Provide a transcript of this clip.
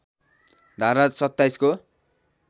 धारा २७ को